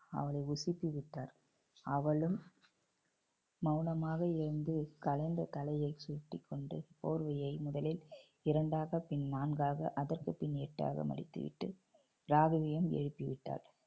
அவளை உசுப்பி விட்டார். அவளும் மவுனமாக எழுந்து கலைந்த தலையை சுத்திக்கொண்டு போர்வையை முதலில் இரண்டாக பின் நான்காக அதற்குப்பின் எட்டாக மடித்து விட்டு ராகவியும் எழுப்பிவிட்டார்